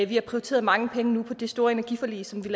vi har prioriteret mange penge til det store energiforlig som blev